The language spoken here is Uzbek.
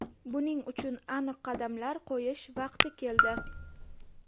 Buning uchun aniq qadamlar qo‘yish vaqti keldi.